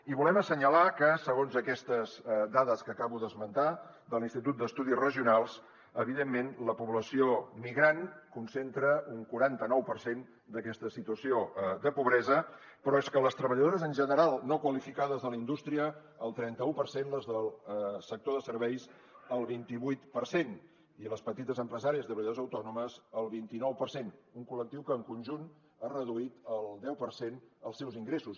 i volem assenyalar que segons aquestes dades que acabo d’esmentar de l’institut d’estudis regionals evidentment la població migrant concentra un quaranta nou per cent d’aquesta situació de pobresa però és que les treballadores en general no qualificades de la indústria el trenta u per cent les del sector de serveis el vint i vuit per cent i les petites empresàries i treballadores autònomes el vint i nou per cent un col·lectiu que en conjunt ha reduït el deu per cent els seus ingressos